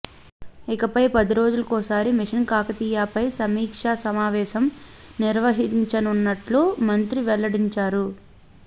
ఇకపై పది రోజులకోసారి మిషన్ కాకతీయపై సమీక్షా సమావేశం నిర్వహించనున్నట్టు మంత్రి వెల్లడించారు